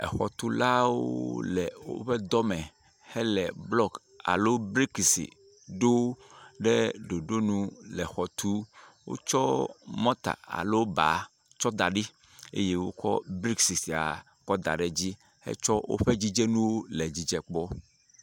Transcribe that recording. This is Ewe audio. exɔtulawo le wóƒe dɔ me hele blɔks alo brikisi ɖo ɖe ɖoɖonu le xɔ tu, wótsɔ mɔta alo baa tsɔ da ɖi eye wótsɔ brikisi kɔ da le dzi hetsɔ wóƒe dzidzenuwo hele dzidze kpɔ